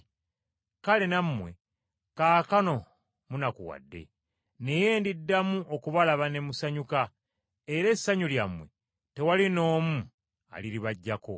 Kale nammwe kaakano munakuwadde, naye ndiddamu okubalaba ne musanyuka, era essanyu lyammwe tewali n’omu aliribaggyako.